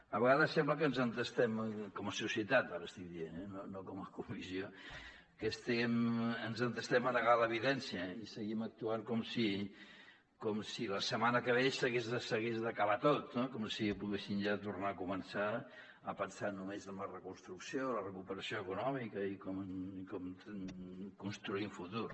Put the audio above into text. a vegades sembla que ens entestem com a societat ara estic dient no com a comissió a negar l’evidència i seguim actuant com si la setmana que ve s’hagués d’acabar tot com si poguéssim ja tornar a començar a pensar només en la reconstrucció la recuperació econòmica i com construïm futur